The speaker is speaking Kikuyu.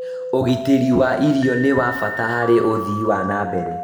Ũgitĩri wa irio nĩ wa bata harĩ ũthii wa na mbere